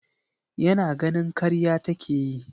Yana ganin karya take yi.